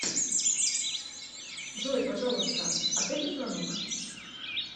джой пожалуйста ответь на звонок